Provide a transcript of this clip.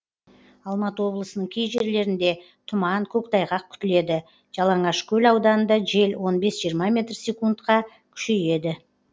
алматы облысының кей жерлерінде тұман көктайғақ күтіледі жаланашкөл ауданында жел он бес жиырма метр секундқа күшейеді